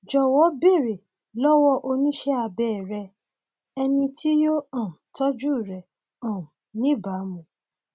jọwọ béèrè lọwọ oníṣẹ abẹ rẹ ẹni tí yóò um tọjú rẹ um níbàámu